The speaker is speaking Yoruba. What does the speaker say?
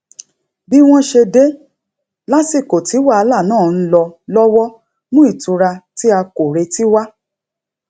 bí wọn ṣe dé lásìkò tí wàhálà náà ń lọ lówọ mú ìtura tí a kò retí wá